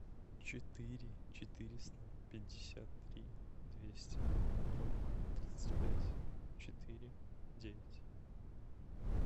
четыре четыреста пятьдесят три двести ноль тридцать пять четыре девять